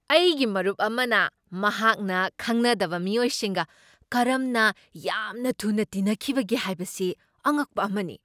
ꯑꯩꯒꯤ ꯃꯔꯨꯞ ꯑꯃꯅ ꯃꯍꯥꯛꯅ ꯈꯪꯅꯗꯕ ꯃꯤꯑꯣꯏꯁꯤꯡꯒ ꯀꯔꯝꯅ ꯌꯥꯝꯅ ꯊꯨꯅ ꯇꯤꯟꯅꯈꯤꯕꯒꯦ ꯍꯥꯏꯕꯁꯤ ꯑꯉꯛꯄ ꯑꯃꯅꯤ ꯫